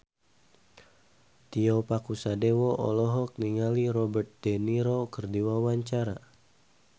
Tio Pakusadewo olohok ningali Robert de Niro keur diwawancara